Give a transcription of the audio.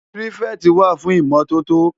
Pirifèti wá fún Imòtótó